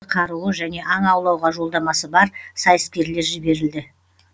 оған заңды қаруы және аң аулауға жолдамасы бар сайыскерлер жіберілді